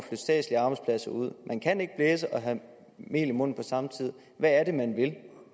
statslige arbejdspladser ud man kan ikke blæse og have mel i munden på samme tid hvad er det man vil